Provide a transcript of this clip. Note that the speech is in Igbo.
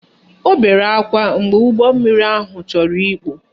Ọ bere akwa mgbe ụgbọmmiri ahụ chọrọ ikpu